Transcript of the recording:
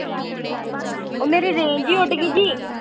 ਉਹ ਮੇਰੀ range ਉਡ ਗਈ ਜੀ।